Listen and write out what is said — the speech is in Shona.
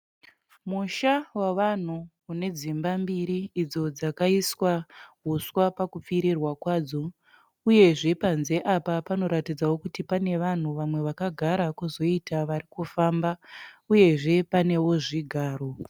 Musha wavanhu une dzimba mbiri idzo dzakaiswa huswa pakupfirirwa kwadzo, uyezve panze apa pano ratidzawo kuti pane vanhu vamwe vakagara kozoita vari kufamba, uyezve panewo zvigaro.